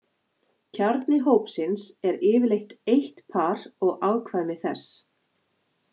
Kjarni hópsins er yfirleitt eitt par og afkvæmi þess.